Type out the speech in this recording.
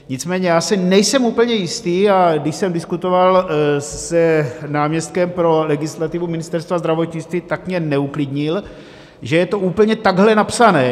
Nicméně já si nejsem úplně jistý, a když jsem diskutoval s náměstkem pro legislativu Ministerstva zdravotnictví, tak mě neuklidnil, že je to úplně takhle napsané.